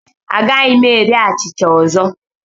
Agaghị m eri achịcha ọzọ.